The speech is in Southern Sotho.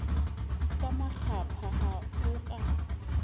ka makgapha ha o ka